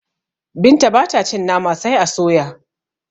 Binta bata cin Nama sai a soya